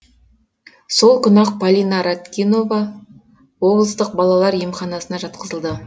сол күні ақ полина ратникова облыстық балалар емханасына жатқызылды